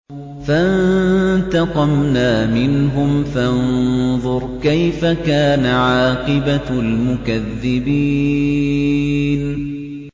فَانتَقَمْنَا مِنْهُمْ ۖ فَانظُرْ كَيْفَ كَانَ عَاقِبَةُ الْمُكَذِّبِينَ